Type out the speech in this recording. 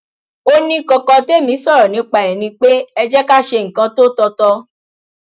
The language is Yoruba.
ó ní kọkọ tẹmí sọrọ nípa ẹ ni pé ẹ jẹ ká ṣe nǹkan tó tọ tọ